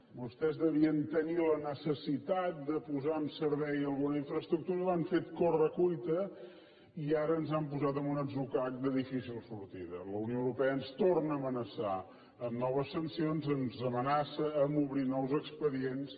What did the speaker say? vostès devien tenir la necessitat de posar en servei alguna infraestructura i ho han fet a corre cuita i ara ens han posat en un atzucac de difícil sortida la unió europea ens torna a amenaçar amb noves sancions ens amenaça a obrir nous expedients